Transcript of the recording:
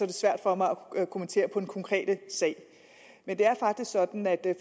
det svært for mig at kommentere den konkrete sag men det er faktisk sådan at